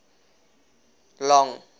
long